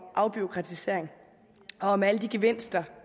afbureaukratisering og om alle de gevinster